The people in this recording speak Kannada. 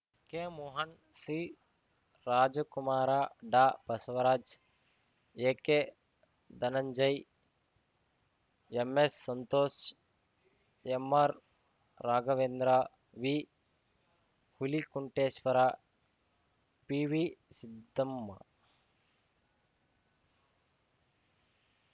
ಕೆಮೋಹನ್ ಸಿರಾಜಕುಮಾರ ಡಾಬಸವರಾಜ್ ಎಕೆಧನಂಜಯ್ ಎಂಎಸ್‌ಸಂತೋಷ್ ಎಂಆರ್‌ರಾಘವೇಂದ್ರ ವಿಹುಲಿಕುಂಟೇಶ್ವರ ಪಿವಿಸಿದ್ದಮ್ಮ